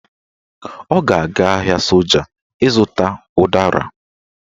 Ọ ga-aga ahịa soja ịzụta ụdara